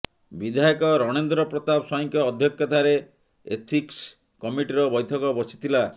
ବିଧାୟକ ରଣେନ୍ଦ୍ର ପ୍ରତାପ ସ୍ୱାଇଁଙ୍କ ଅଧ୍ୟକ୍ଷତାରେ ଏଥିକ୍ସ କମିଟିର ବୈଠକ ବସିଥିଲା